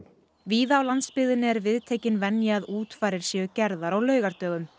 víða á landsbyggðinni er viðtekin venja að útfarir séu gerðar á laugardögum